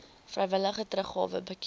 vrywillige teruggawe bekend